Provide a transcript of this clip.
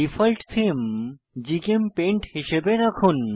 default theme GChemPaint হিসাবে রাখুন